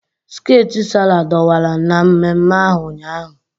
Skeeti Sarah dọwara na mmemme ahu ụnyaahụ.